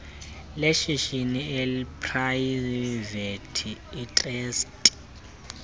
leshishini eliprayivethi itrasti